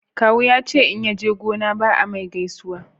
kawu ya ce in yaje gona ba a mai gaisuwa